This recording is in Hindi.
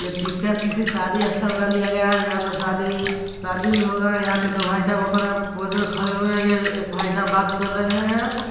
यह पिक्चर किसी शादी या स्थल का लिया गया है जहा पे शादी शादी हो रहा है| यहाँ पे दो भाई साहब अपना पोज़ मैं खड़े हुए हैं| ऐ एक भाई साहब बात कर रहे हैं।